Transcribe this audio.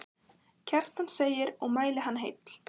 Kjartan segir og mæli hann heill.